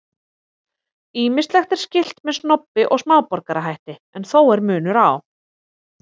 Ýmislegt er skylt með snobbi og smáborgarahætti en þó er munur á.